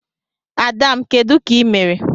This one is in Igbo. Ada m, Kedu ka ị mere?